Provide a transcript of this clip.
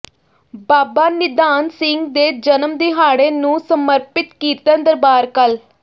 ਬਾਬਾ ਨਿਧਾਨ ਸਿੰਘ ਦੇ ਜਨਮ ਦਿਹਾੜੇ ਨੂੰ ਸਮਰਪਿਤ ਕੀਰਤਨ ਦਰਬਾਰ ਕੱਲ੍ਹ